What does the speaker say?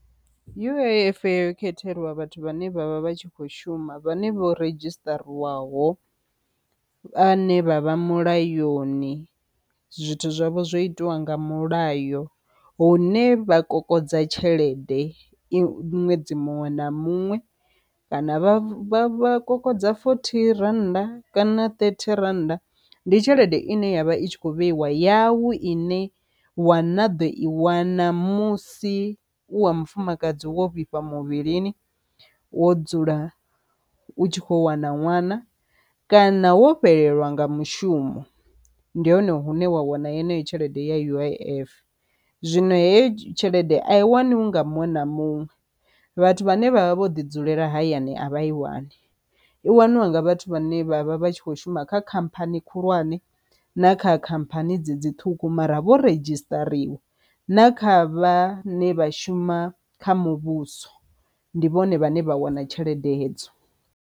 U_I_F yo khethelwa vhathu vhane vha vha vha tshi kho shuma vhane vho redzhisiṱarisiwaho, vha ne vha vha mulayoni, zwithu zwavho zwo itiwa nga mulayo hune vha kokodza tshelede i ṅwedzi muṅwe na muṅwe kana vha kokodza fothi rannda kana ṱethi rannda, ndi tshelede ine yavha i thikho vheiwa yau ine wa na ḓo i wana musi u wa mufumakadzi wo vhifha muvhilini wo dzula u tshi kho wana ṅwana, kana wo fhelelwa nga mushumo ndi hone hune wa wana yeneyo tshelede ya U_I_F. Zwino heyo tshelede a i waniwi nga muṅwe na muṅwe vhathu vhane vhavha vho ḓi dzulela hayani a vha i wani, i waniwa nga vhathu vhane vha vha vha tshi kho shuma kha khamphani khulwane na kha khamphani dzedzi ṱhukhu mara vho redzhistariwa na kha vhane vha shuma kha muvhuso ndi vhone vhane vha wana tshelede hedzo.